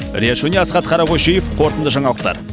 риат шони асхат қарақойшиев қорытынды жаңалықтар